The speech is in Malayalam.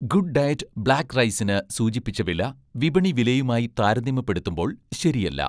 ഗുഡ് ഡയറ്റ്' ബ്ലാക്ക് റൈസിന് സൂചിപ്പിച്ച വില, വിപണി വിലയുമായി താരതമ്യപ്പെടുത്തുമ്പോൾ ശരിയല്ല.